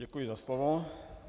Děkuji za slovo.